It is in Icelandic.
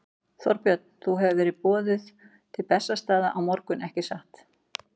Þorbjörn: Þú hefur verið boðuð til Bessastaða á morgun, ekki satt?